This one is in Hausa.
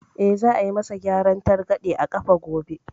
Eh, za a yi ma sa gyaran targaɗe a ƙafa gobe